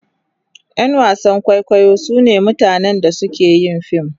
Yan wasan kwaikwayo sune mutanen da suke yin fim..